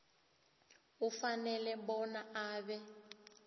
ufanele bona abe